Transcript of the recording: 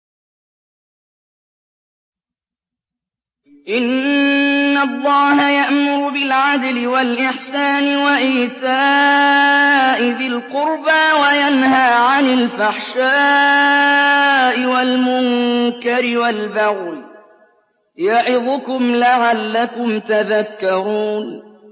۞ إِنَّ اللَّهَ يَأْمُرُ بِالْعَدْلِ وَالْإِحْسَانِ وَإِيتَاءِ ذِي الْقُرْبَىٰ وَيَنْهَىٰ عَنِ الْفَحْشَاءِ وَالْمُنكَرِ وَالْبَغْيِ ۚ يَعِظُكُمْ لَعَلَّكُمْ تَذَكَّرُونَ